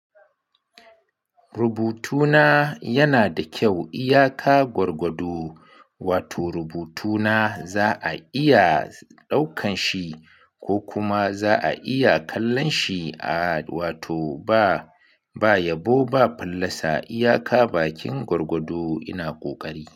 Rubutuna yana da kyau iyaka gwargwado, wato rubutuna za a iya ɗaukan shi ko kuma za'a iya kallon shi, a wato ba, ba yabo ba fallasa iyaka bakin gwargwado ina ƙoƙari.